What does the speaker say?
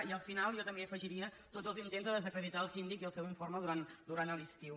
i al final jo també hi afegiria tots els intents de desacreditar el síndic i el seu informe durant l’estiu